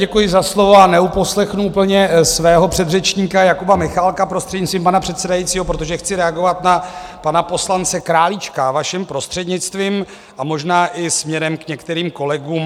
Děkuji za slovo a neuposlechnu úplně svého předřečníka Jakuba Michálka, prostřednictvím pana předsedajícího, protože chci reagovat na pana poslance Králíčka, vaším prostřednictvím, a možná i směrem k některým kolegům.